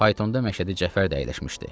Faytonda Məşədi Cəfər də əyləşmişdi.